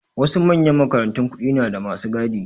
Wasu manyan makarantun kuɗi nada masu gadi